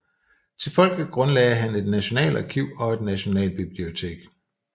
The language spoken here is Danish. Til folket grundlagde han et nationalarkiv og et nationalbibliotek